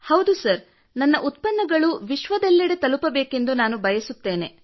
ಹೌದು ಸರ್ ನನ್ನ ಉತ್ಪನ್ನಗಳು ವಿಶ್ವದ ಎಲ್ಲೆಡೆ ತಲುಪಬೇಕೆಂದು ನಾನು ಬಯಸುತ್ತೇನೆ